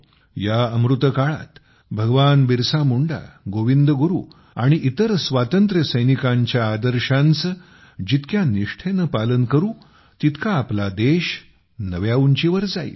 या अमृत काळात भगवान बिरसा मुंडा गोविंद गुरु आणि इतर स्वातंत्र्य सैनिकांच्या आदर्शांचे जितक्या निष्ठेने पालन करू तितका आपला देश नव्या उंचीवर जाईल